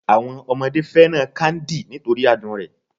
Àwọn ọmọdé fẹ́ràn káńdì nítorí adùn rẹ̀